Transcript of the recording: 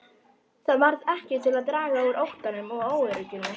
Það varð ekki til að draga úr óttanum og óörygginu.